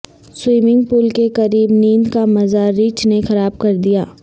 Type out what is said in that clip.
swimming pool کے قریب نیند کا مزہ ریچھ نے خراب کردیا